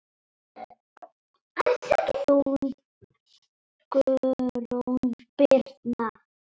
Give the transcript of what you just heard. Þín, Guðrún Birna.